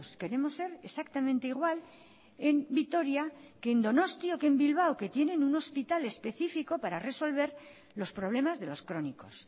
queremos ser exactamente igual en vitoria que en donosti o que en bilbao que tienen un hospital específico para resolver los problemas de los crónicos